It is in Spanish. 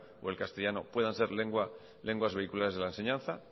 o el castellano puedan ser lenguas vehiculares de la enseñanza